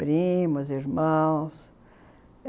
Primos, irmãos.